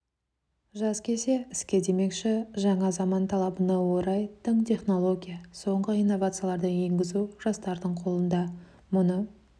жас келсе іске демекші жаңа заман талабына орай тың технология соңғы инновацияларды енгізу жастардың қолында мұны